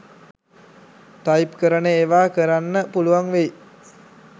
Type කරන ඒවා කරන්න පුළුවන් වෙයි.